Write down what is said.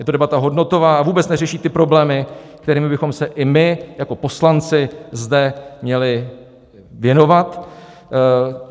Je to debata hodnotová a vůbec neřeší ty problémy, kterými bychom se i my jako poslanci zde měli věnovat.